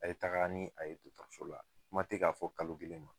A ye taga ni a ye dɔgɔtɔrɔso la kuma tɛ k'a fɔ kalo kelen ma